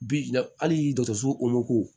Bi hali dɔkɔtɔrɔso o ko